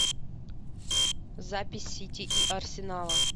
запись сити и арсенала